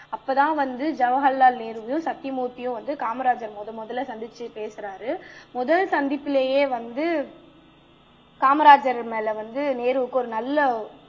அப்பதான் வந்து ஜவஹர்லால் நேருவையும் சத்திய மூர்த்தியும் காமராஜரை முதல் முதல்ல சந்திச்சு பேசுறாரு முதல் சந்திப்பிலேயே வந்து காமராஜர் மேல வந்து நேருவுக்கு ஒரு நல்ல